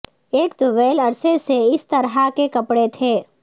ایک طویل عرصے سے اس طرح کے کپڑے تھے